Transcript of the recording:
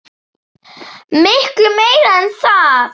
Miklu meira en það.